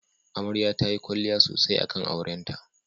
Amarya tayi kwalliya sosai akan aurenta.